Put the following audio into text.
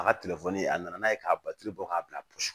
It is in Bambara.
A ka telefɔni a nana n'a ye k'a batɔri bɔ k'a bila